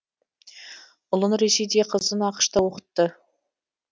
ұлын ресейде қызын ақш та оқытты